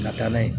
Ka taa n'a ye